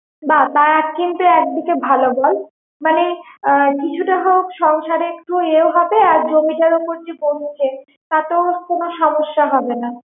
বাহ্ তারা কিন্তু একদিকে ভালো বল মানে কিছুটা হোক সংসারে একটু ইয়েও হবে আর জমিটার উপর যে বসছে তাতেও কোনো সমস্যা হবেনা